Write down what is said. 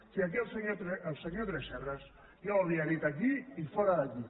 si aquí el senyor tresserras ja ho havia dit aquí i fora d’aquí